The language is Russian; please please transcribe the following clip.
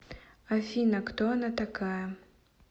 афина кто она такая